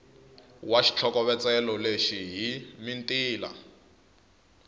wa xitlhokovetselo lexi hi mitila